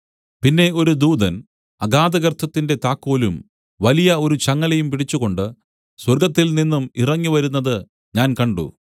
പിന്നെ ഒരു ദൂതൻ അഗാധഗർത്തത്തിന്റെ താക്കോലും വലിയ ഒരു ചങ്ങലയും പിടിച്ചുകൊണ്ടു സ്വർഗ്ഗത്തിൽനിന്നും ഇറങ്ങി വരുന്നത് ഞാൻ കണ്ട്